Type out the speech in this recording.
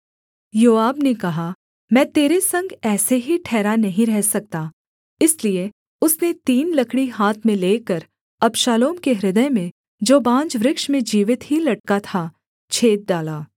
योआब ने कहा मैं तेरे संग ऐसे ही ठहरा नहीं रह सकता इसलिए उसने तीन लकड़ी हाथ में लेकर अबशालोम के हृदय में जो बांज वृक्ष में जीवित ही लटका था छेद डाला